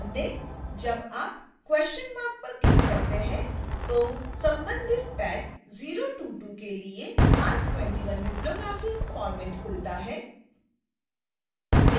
ध्यान दें